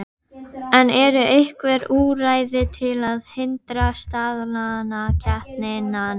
En eru einhver úrræði til að hindra staðnaða samkeppni núna?